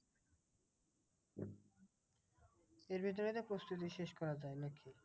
এর ভেতরে তো প্রস্তুতি শেষ করা যায় নাকি?